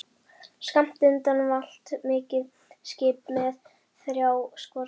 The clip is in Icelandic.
Skammt undan valt mikið skip með þrjá skorsteina.